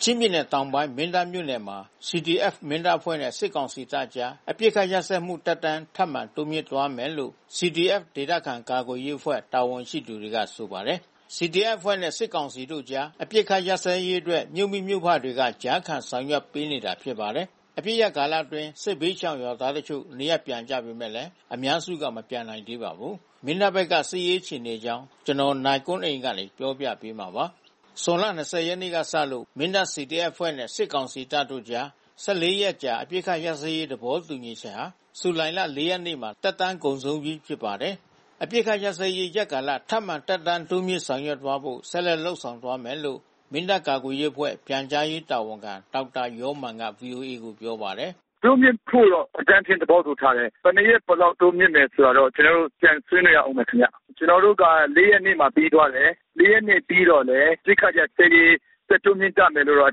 ချင်းပြည်နယ်တောင်ပိုင်း မင်းတပ်မြို့နယ်မှာ CDF-Mindat အဖွဲ့နဲ့ စစ်ကောင်စီတပ်တို့ကြား အပစ်အခတ်ရပ်စဲမှု သက်တမ်း ထပ်မံတိုးမြှင့်သွားမယ်လို့ CDF ဒေသခံကာကွယ်ရေးအဖွဲ့ တာဝန်ရှိသူတွေက ဆိုပါတယ်။ CDF အဖွဲ့နဲ့ စစ်ကောင်စီတို့ကြား အပစ်အခတ် ရပ်စဲရေးအတွက် မြို့မိမြို့ဖတွေက ကြားခံဆောင်ရွက်ပေးနေတာ ဖြစ်ပါတယ်။ အပစ်ရပ်ကာလအတွင်း စစ်ဘေးရှောင်ရွာသားတချို့ နေရပ်ပြန်ကြပေမယ့် အများစုက မပြန်နိုင်သေးပါဘူး။ မင်းတပ်ဘက်က စစ်ရေးအခြေအနေအကြောင်း နိုင်ကွန်းအိန် တင်ပြပေးထားပါတယ်။ ဇွန်လ ၂၀ ရက်နေ့ကစလို့ မင်းတပ် CDF အဖွဲ့နဲ့ စစ်ကောင်စီတပ်တို့ကြား ၁၄ ရက်အကြာ အပစ်အခတ်ရပ်စဲရေး သဘောတူညီချက်ဟာ ဇူလိုင်လ ၄ ရက်နေ့မှာ သက်တမ်းကုန်ဆုံးပြီး ဖြစ်ပါတယ်။ အပစ်အခတ်ရပ်စဲရေး ရက်ကာလ ထပ်မံသက်တမ်းတိုးမြှင့် ဆောင်ရွက်သွားဖို့ ဆက်လက်လုပ်ဆောင်သွားမယ်လို့ မင်းတပ် ကာကွယ်ရေးအဖွဲ့ ပြန်ကြားရေးတာဝန်ခံ ဒေါက်တာယောမာန်က ဗွီအိုအေကို ပြောပါတယ်။ “တိုးမြှင့်ဖို့တော့ အကြမ်းဖျင်း သဘောတူထားတယ်။ ဘယ်နှစ်ရက် ဘယ်လောက်တိုးမြှင့်တယ် ဆိုတာတော့ ကျနော်တို့ ပြန်ဆွေးနွေးရဦးမယ်ခင်ဗျ။ ကျနော်တို့က ၄ ရက်နေ့မှာ ပြီးသွားတယ်။ ၄ ရက်နေ့ပြီးတော့လည်း အပစ်အခတ်ရပ်စဲရေး ဆက်တိုးမြှင့်ကြမယ်လို့တော့ အ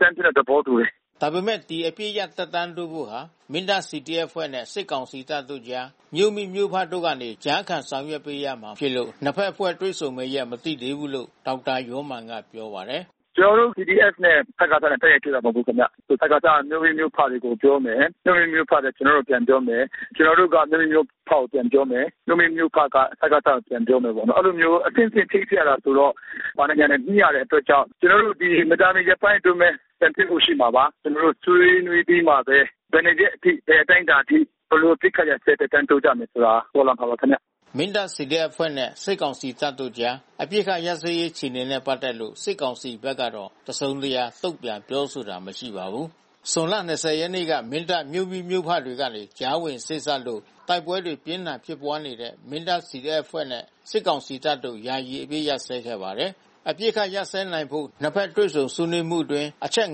ကြမ်းဖျင်း သဘောတူတယ်။” ဒါပေမယ့် ဒီအပစ်ရပ်သက်တမ်းတိုးဖို့ဟာ မင်းတပ် CDF အဖွဲ့နဲ့ စစ်ကောင်စီတပ်တို့ကြား မြို့မိမြို့ဖတို့ကနေ ကြားခံဆောင်ရွက်ပေးရမှာဖြစ်လို့ နှစ်ဖက်အဖွဲ့ တွေ့ဆုံမယ့်ရက် မသိသေးဘူးလို့ ဒေါက်တာယောမာန်က ပြောပါတယ်။ “ကျနော်တို့ CDF နဲ့ စကစနဲ့ တိုက်ရိုက်တွေ့တာ မဟုတ်ဘူးဗျ။ ဒီစကစက မြို့မိမြို့ဖတွေကို ပြောမယ်၊ မြို့မိမြို့ဖတွေက ကျေနာ်တို့ကို ပြန်ပြောမယ်။ ကျနော်တို့က မြို့မိမြို့ဖတွေကို ပြန်ပြောမယ်။ မြို့မိမြို့ဖက စကစကို ပြန်ပြောမယ်ပေါ့နော်။ အဲဒီလိုမျိုး အဆင့်ဆင့် ချိတ်ဆက်ရတယ်ဆိုတော့ ဘာတွေညာတွေ ညှိရတဲ့အတွက်ကြောင့် ကျနော်တို့ မကြာမီရက်ပိုင်းအတွင်းပဲ ပြန်တွေ့ဖို့ရှိမှာပါ။ ကျနော်တို့ ဆွေးနွေးပြီးမှပဲ ဘယ်နှစ်ရက်အထိ ဘယ်အတိုင်းအတာထိ ဘယ်လိုအပစ်အခတ်ရပ်စဲ သက်တမ်းတိုးကြမလဲဆိုတာ ပေါ်လာမှာပါခင်ဗျ။” မင်းတပ် CDF အဖွဲ့နဲ့ စစ်ကောင်စီတပ်တို့ကြား အပစ်အခတ်ရပ်စဲရေး အခြေအနေတွေနဲ့ ပတ်သက်လို့ စစ်ကောင်စီဘက်ကတော့ တစုံတရာ တုံ့ပြန်ပြောဆိုတာ မရှိပါဘူး။ ဇွန်လ ၂၀ ရက်နေ့က မင်းတပ်မြို့မိမြို့ဖတွေကနေ ကြားဝင်စေ့စပ်လို့ တိုက်ပွဲတွေ ပြင်းထန်ဖြစ်ပွားနေတဲ့ မင်းတပ် CDF အဖွဲ့နဲ့ စစ်ကောင်စီတပ်တို့ ယာယီအပစ်အခတ် ရပ်စဲခဲ့ပါတယ်။ အပစ်အခတ်ရပ်စဲနိုင်ဖို့ နှစ်ဖက်တွေ့ဆုံဆွေးနွေးမှုအတွင်း အချက်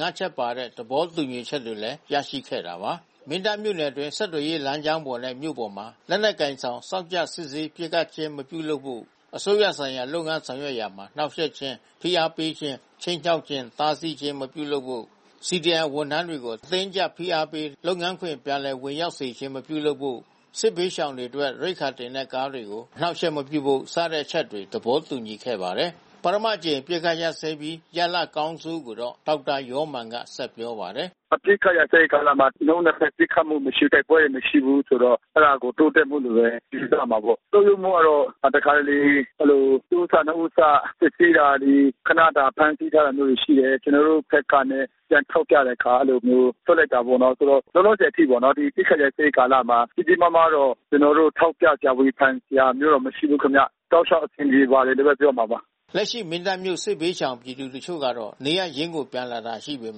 ၅ ချက်ပါတဲ့ သဘောတူညီချက်တွေလည်း ရရှိခဲ့တာပါ။ မင်းတပ်မြို့နယ်အတွင်း ဆက်သွယ်ရေးလမ်းကြောင်းနဲ့ မြို့ပေါ်မှာ လက်နက်ကိုင်ဆောင် စောင့်ကြပ်စစ်ဆေး ပစ်ခတ်ခြင်း မပြုလုပ်ဖို့ အစိုးရဌာနဆိုင်ရာလုပ်ငန်း ဆောင်ရွက်ရာမှာ နှောင့်ယှက်ခြင်း၊ ဖိအားပေးခြင်း၊ ခြိမ်းခြောက်ခြင်း၊ တားဆီးခြင်း မပြုလုပ်ဖို့၊ CDM ဝန်ထမ်းတွေကို အတင်းအကျပ် ဖိအားပေး လုပ်ငန်းခွင် ပြန်လည်ဝင်ရောက်စေခြင်း မပြုလုပ်ဖို့၊ စစ်ဘေးရှောင်တွေအတွက် ရိက္ခာတင်တဲ့ကားတွေကို အနှောင့်အယှက်မပြုဖို့ စတဲ့အချက်တွေ သဘောတူခဲ့ပါတယ်။ ပထမအကြိမ် အပစ်အခတ်ရပ်စဲပြီး ရလဒ်အကောင်းအဆိုးကိုတော့ ဒေါက်တာယောမာန်က ဆက်ပြောပါတယ်။ “အပစ်အခတ်ရပ်စဲရေး ကာလမှာ နှစ်ဦးနှစ်ဖက် ပစ်ခတ်မှုမရှိ၊ တိုက်ပွဲတွေမရှိဘူးဆိုတော့ အဲဒါကို တိုးတက်မှုလို့ပဲ ယူဆရမှာပေါ့။ ဆုတ်ယုတ်မှုကတော့ တခါတလေ အဲဒီလို တဦးစနှစ်ဦးစ စစ်ဆေးတာတွေ ခနတာ ဖမ်းဆီးထားတာမျိုးတွေ ရှိတယ်။ ကျနော်တို့ဘက်ကနဲ့ ပြန်ထောက်ပြတဲ့အခါ အဲဒီလိုမျိုး လွှတ်လိုက်တာပေါ့နော်။ ဆိုတော့ လောလောဆယ်အထိပေါ့နော် ဒီအပစ်အခတ်ရပ်စဲရေး ကာလမှာ ကြီးကြီးမားမားတော့ ကျနော်တို့ ထောက်ပြစရာ ဝေဖန်စရာမျိုးတော့ မရှိဘူးခင်ဗျ။ တောက်လျှောက် အဆင်ပြေပါတယ်လို့ပဲ ပြောရမှာပါ။” လက်ရှိ မင်းတပ်မြို့ စစ်ဘေးရှောင်ပြည်သူ တချို့ကတော့ နေရပ်ရင်းကို ပြန်လာတာရှိပေ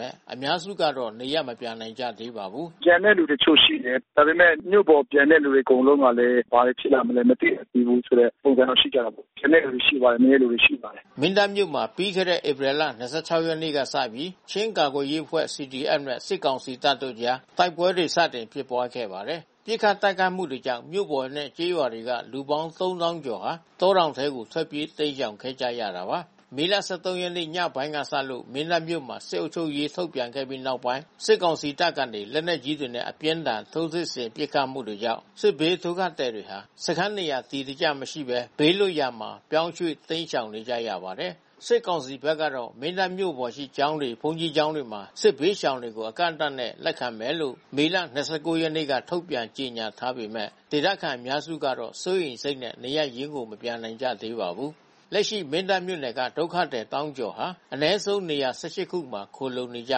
မယ့် အများစုကတော့ နေရပ်မပြန်နိုင်ကြသေးပါဘူး။ “ပြန်တဲ့သူတချို့ ရှိတယ်။ ဒါပေမယ့် မြို့ပေါ်ပြန်တဲ့သူ အကုန်လုံးကလည်း ဘာတွေဖြစ်လာမလဲ မသိဘူးဆိုတဲ့ ပုံစံတော့ ရှိကြတာပေါ့။ ပြန်တဲ့သူလည်း ရှိပါတယ်။ နည်းနည်းလေးပဲ ရှိပါတယ်။” မင်းတပ်မြို့မှာ ပြီးခဲ့တဲ့ ဧပြီလ ၂၆ ရက်နေ့လောက်ကစပြီး ချင်းကာကွယ်ရေးအဖွဲ့ နဲ့ စစ်ကောင်စီတပ်တို့အကြား တိုက်ပွဲတွေ စတင်ဖြစ်ပွားခဲ့ပါတယ်။ ပစ်ခတ်တိုက်ခိုက်မှုတွေကြောင့် မြို့ပေါ်နဲ့ ကျေးရွာတွေက လူပေါင်း ၃၀,၀၀၀ ကျော်ဟာ တောတောင်တွေထဲကို ထွက်ပြေး တိမ်းရှောင်ခဲ့ကြရတာပါ။ မေလ ၁၃ ရက်နေ့ ညပိုင်းကစလို့ မင်းတပ်မြို့မှာ စစ်အုပ်ချုပ်ရေး ထုတ်ပြန်ခဲ့ပြီးနောက်ပိုင်း စစ်ကောင်စီတပ်ကနေ လက်နက်ကြီးတွေနဲ့ အပြင်းအထန် ထိုးစစ်ဆင် ပစ်ခတ်မှုတွေကြောင့် စစ်ဘေးဒုက္ခသည်တွေဟာ စခန်းနေရာ အတည်တကျမရှိဘဲ ဘေးလွတ်ရာမှာ ပြောင်းရွှေ့ တိမ်းရှောင်နေရပါတယ်။ စစ်ကောင်စီဘက်ကတော့ မင်းတပ်မြို့ပေါ်ရှိ ကျောင်းတွေ၊ ဘုန်းကြီးကျောင်းတွေမှာ စစ်ဘေးရှောင်တွေကို အကန့်အသတ်နဲ့ လက်ခံမယ်လို့ မေလ ၂၉ ရက်နေ့က ထုတ်ပြန်ကြေညာထားပေမယ့် ဒေသခံတွေ အများစုကတော့ စိုးရိမ်စိတ်နဲ့ နေရပ်ရင်းကို မပြန်နိုင်ကြသေးပါဘူး။ လက်ရှိ မင်းတပ်မြို့နယ်က ဒုက္ခသည် သောင်းကျော်ဟာ အနည်းဆုံး နေရာ ၁၈ ခုမှာ ခိုလှုံနေကြ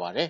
ပါတယ်